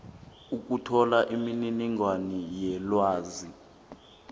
ukuthola imininingwana yelwazi